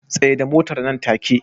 Tsaida Motar nan take